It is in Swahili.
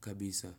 kabisa.